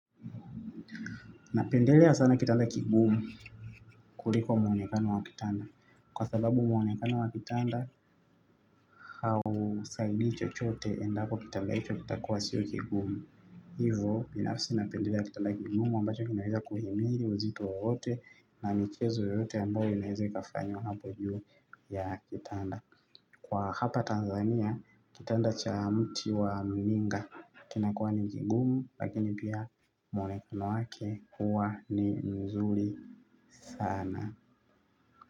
Napendelea sana kitanda kigumu kuliko muonekano wa kitanda. Kwa sababu muonekano wa kitanda hausaidi chochote endako kitanda hicho kitakuwa sio kigumu. Hivo binafisi napendelea kitanda kigumu ambacho inaweza kuhimiri uzito wowote na michezo yote ambao inaweza ikafanywa hapo juu ya kitanda. Kwa hapa Tanzania, kitanda cha mti wa mninga kina kuwa ni mgingumu, lakini pia mwonekano wake huwa ni mzuri sana.